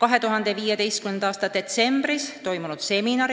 2015. aasta detsembris toimus seminar